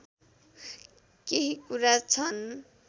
केही कुरा छन्